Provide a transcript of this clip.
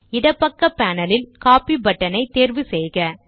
இடப்பக்க பேனல் ல் copy button ஐத் தேர்வு செய்யவும்